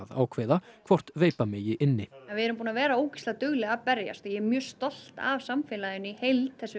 ákveða hvort veipa megi inni við erum búin að vera ógeðslega dugleg að berjast og ég er mjög stolt af samfélaginu í heild þessu